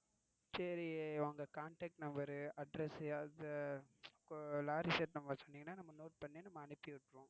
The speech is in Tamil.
சரி உங்க contact number address ஆவது இப்போ lorry shed number சொன்னீங்கன்னா நம்ம note பன்னி நம்ம அனுப்பிவிட்டிருவோம்.